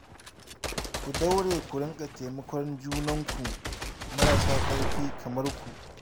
Ku daure ku dinga taimakon 'yanuwanku marasa ƙarfi kamar ku